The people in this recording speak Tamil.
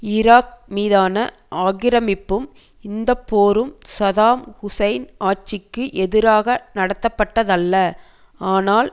ஈராக் மீதான ஆக்கிரமிப்பும் இந்த போரும் சதாம் ஹூசைன் ஆட்சிக்கு எதிராக நடத்தப்பட்டதல்ல ஆனால்